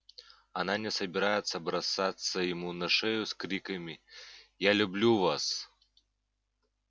она не собирается бросаться ему на шею с криками я люблю вас